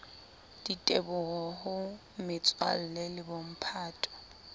diteboho ho metswalle le bomphato